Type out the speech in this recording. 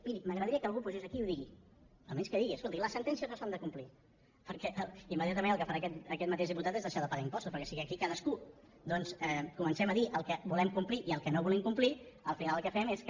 miri m’agradaria que algú pugés aquí i ho digués almenys que digui escolti les sentències no s’han de complir perquè immediatament el que farà aquest mateix diputat és deixar de pagar impostos perquè si aquí cadascú doncs comencem a dir el que volem complir i el que no volem complir al final el que fem és que